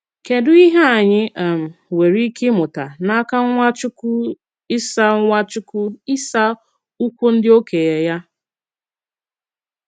Kédù ìhè ànyị̀ um nwèrè ìkè ịmụ̀tá n'aka Nwachukwu 'ịsà Nwachukwu 'ịsà ụ̀kwù ndị òkénye yà?